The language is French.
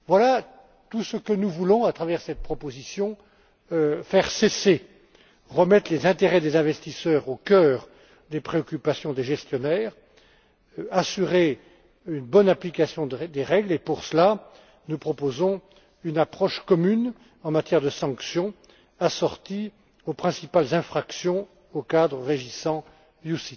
Voilà, tout ce que nous voulons à travers cette proposition faire cesser tout cela, remettre les intérêts des investisseurs au cœur des préoccupations des gestionnaires, assurer une bonne application des règles et, pour cela, nous proposons une approche commune en matière de sanctions assorties aux principales infractions au cadre régissant les OPCVM.